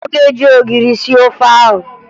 Ọ ga-eji ogiri sie ofe ahụ